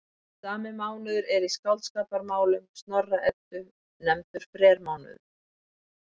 Sami mánuður er í Skáldskaparmálum Snorra-Eddu nefndur frermánuður.